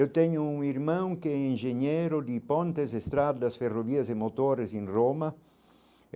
Eu tenho um irmão que é engenheiro de Pontes Estrada das Ferrovias e Motores em Roma.